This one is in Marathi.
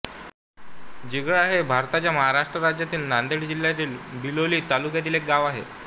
जिगळा हे भारताच्या महाराष्ट्र राज्यातील नांदेड जिल्ह्यातील बिलोली तालुक्यातील एक गाव आहे